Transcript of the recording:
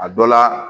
A dɔ la